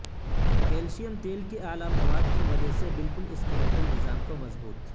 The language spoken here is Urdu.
کیلشیم تیل کے اعلی مواد کی وجہ سے بالکل سکیلیٹل نظام کو مضبوط